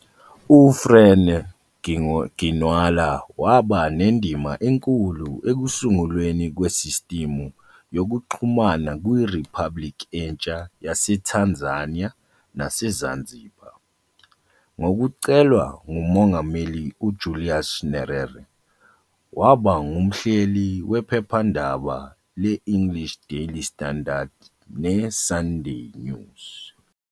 U-Frene Ginwala waba nendima enkulu ekusungulweni kwesistimu yokuxhumana kwi-Republic entsha yaseTanzania naseZanzibar. Ngokucelwa nguMongameli uJulius Nyerere, waba ngumhleli wephephandaba le-English Daily Standard, ne-Sunday News.